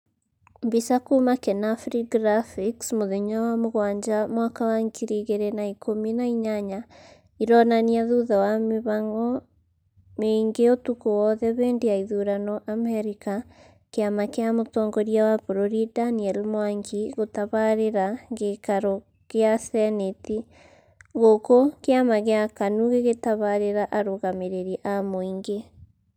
mbica kuma kenafri graphics mũthenya wa mũgwanja mwaka wa ngiri igiri na ikumi na inyanya ironania thutha wa mĩhango mĩingĩ ũtukũ wothe hĩndĩ ya ithurano Amerika, kĩama kia mũtongoria wa bũrũri Daniel Mwangi gũtabarĩra gĩikarogia gĩikaro gĩa senĩti gũkũ kĩama kĩa KANU gĩgĩtabarĩra arũgamĩrĩri a mũingĩ